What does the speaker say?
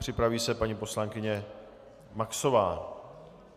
Připraví se paní poslankyně Maxová.